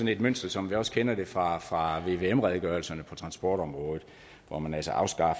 et mønster som vi også kender det fra fra vvm redegørelserne på transportområdet hvor man altså afskar